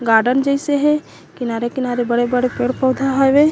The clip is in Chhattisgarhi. गार्डन जइसे हे किनारे-किनारे बड़े-बड़े पेड़-पौधा हावे।